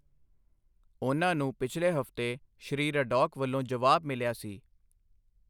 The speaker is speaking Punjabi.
ਉਨ੍ਹਾਂ ਨੂੰ ਪਿਛਲੇ ਹਫ਼ਤੇ ਸ੍ਰੀ ਰਡੌਕ ਵੱਲੋਂ ਜਵਾਬ ਮਿਲਿਆ ਸੀ।